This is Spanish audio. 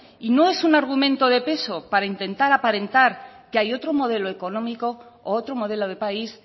y no es un argumento de peso para intentar aparentar que hay otro modelo económico u otro modelo de país